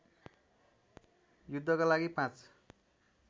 युद्धका लागि ५